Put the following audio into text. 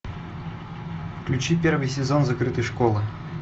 включи первый сезон закрытой школы